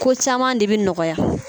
Ko caman de bi nɔgɔya